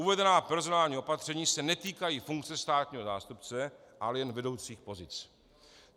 Uvedená personální opatření se netýkají funkce státního zástupce, ale jen vedoucích pozic.